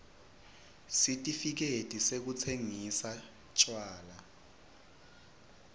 sitifiketi sekutsingisa tjwala